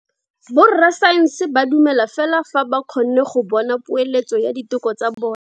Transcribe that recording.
Borra saense ba dumela fela fa ba kgonne go bona poeletso ya diteko tsa bone.